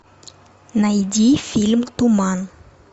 найди фильм туман